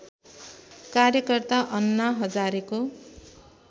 कार्यकर्ता अन्ना हजारेको